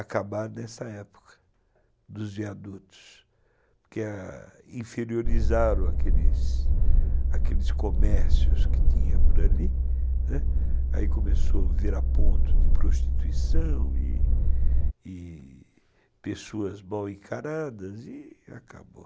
acabar nessa época, dos viadutos, que inferiorizaram aqueles, aqueles comércios que tinha por ali, aí começou a virar ponto de prostituição e e pessoas mal encaradas e acabou.